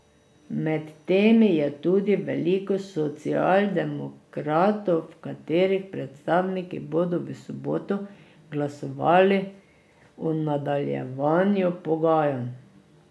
Med temi je tudi veliko socialdemokratov, katerih predstavniki bodo v soboto glasovali o nadaljevanju pogajanj.